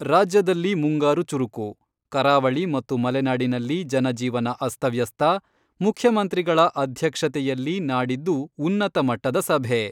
ರಾಜ್ಯದಲ್ಲಿ ಮುಂಗಾರು ಚುರುಕು , ಕರಾವಳಿ ಮತ್ತು ಮಲೆನಾಡಿನಲ್ಲಿ ಜನ ಜೀವನ ಅಸ್ತವ್ಯಸ್ತ, ಮುಖ್ಯಮಂತ್ರಿಗಳ ಅಧ್ಯಕ್ಷತೆಯಲ್ಲಿ ನಾಡಿದ್ದು ಉನ್ನತ ಮಟ್ಟದ ಸಭೆ